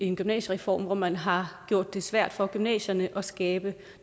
en gymnasiereform hvor man har gjort det svært for gymnasierne at skabe